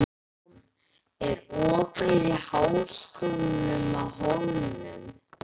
Maron, er opið í Háskólanum á Hólum?